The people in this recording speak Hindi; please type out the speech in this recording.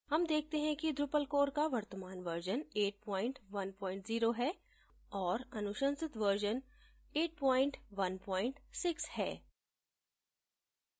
हम देखते हैं कि drupal core का वर्तमान version 810 है और अनुशंसित version 816 है